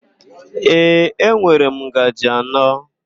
Ee, enwere m ngaji anọ.